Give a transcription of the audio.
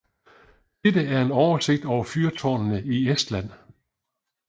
Dette er en oversigt over fyrtårne i Estland